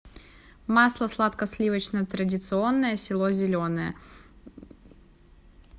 масло сладко сливочное традиционное село зеленое